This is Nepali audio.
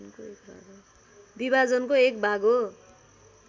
विभाजनको एक भाग हो